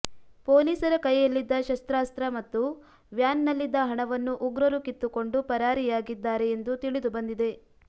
ಪೊಲೀಸರ ಕೈಯಲ್ಲಿದ್ದ ಶಸ್ತ್ರಾಸ್ತ್ರ ಮತ್ತು ವ್ಯಾನ್ ನಲ್ಲಿದ್ದ ಹಣವನ್ನು ಉಗ್ರರು ಕಿತ್ತುಕೊಂಡು ಪರಾರಿಯಾಗಿದ್ದಾರೆ ಎಂದು ತಿಳಿದು ಬಂದಿದೆ